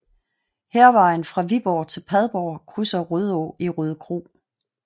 Hærvejen fra Viborg til Padborg krydser Rødå i Rødekro